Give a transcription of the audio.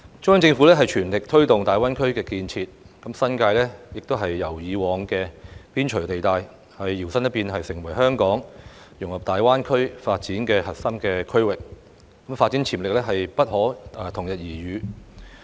中央政府全力推動大灣區建設，新界亦由以往的邊陲地帶，搖身一變成為香港融入大灣區發展的核心區域，發展潛力不可同日而語。